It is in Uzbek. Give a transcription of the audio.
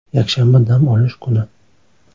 Yakshanba dam olish kuni.